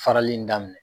Farali in daminɛ